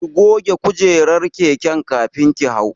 Ki goge kujerar keken kafin ki hau.